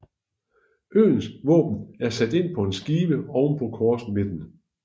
Øens våben er sat ind på en skive ovenpå korsmidten